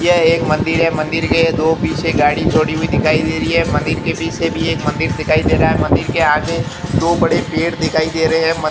यह एक मंदिर है मंदिर के दो पीछे गाड़ी छोड़ी हुई दिखाई दे रही है मंदिर के पीछे भी एक मंदिर दिखाई दे रहा है मंदिर के आगे दो बड़े पेड़ दिखाई दे रहे हैं मं--